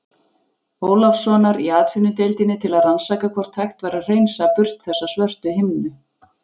Ólafssonar í Atvinnudeildinni til að rannsaka hvort hægt væri að hreinsa burt þessa svörtu himnu.